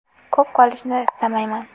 Ko‘p qolishni istamayman”.